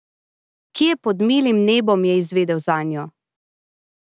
Kje pod milim nebom je izvedel zanjo?